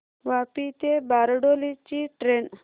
वापी ते बारडोली ची ट्रेन